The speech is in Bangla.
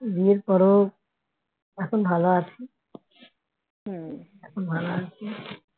বিয়ের পরেও এখন ভালো আছি। ভালো আছি।